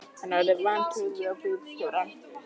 Hann horfði vantrúaður á bílstjórann.